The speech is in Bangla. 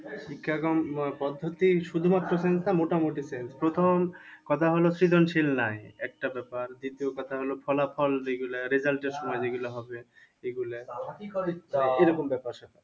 শিক্ষা কম পদ্ধতি শুধু মাত্র sense না মোটামুটি sense প্রথম কথা হলো সৃজনশীল নাই একটা ব্যাপার দ্বিতীয় কথা হলো ফলাফল যে গুলা result এর সময় যে গুলা হবে এগুলা এইরকম ব্যাপার সেপার।